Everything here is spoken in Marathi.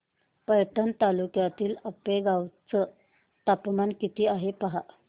पैठण तालुक्यातील आपेगाव चं तापमान किती आहे पहा